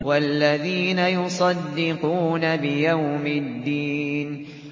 وَالَّذِينَ يُصَدِّقُونَ بِيَوْمِ الدِّينِ